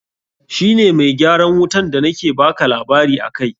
Shi ne mai gyaran wutan da na ke baka labari akai.